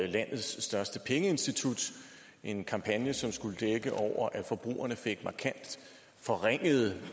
landets største pengeinstitut en kampagne som skulle dække over at forbrugerne fik markant forringede